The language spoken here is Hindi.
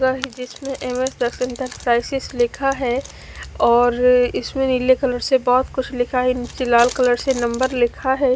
जिसमें इंटरप्राइजेस लिखा है और इसमें नीले कलर से बहुत कुछ लिखा है नीचे लाल कलर से नंबर लिखा है।